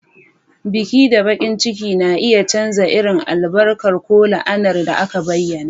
Biki da bakin ciki na iya canza irin albarka ko la'anar da aka bayyana.